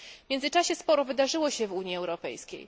W międzyczasie sporo wydarzyło się w Unii Europejskiej.